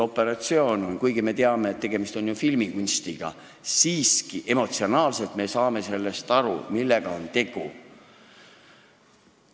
Me küll teame, et tegemist on filmikunstiga, aga me saame siiski emotsionaalselt aru, millega on tegu.